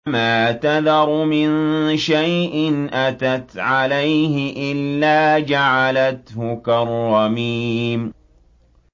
مَا تَذَرُ مِن شَيْءٍ أَتَتْ عَلَيْهِ إِلَّا جَعَلَتْهُ كَالرَّمِيمِ